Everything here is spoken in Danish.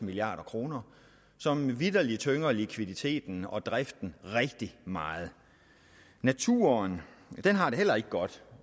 milliard kr som vitterlig tynger likviditeten og driften rigtig meget naturen har det heller ikke godt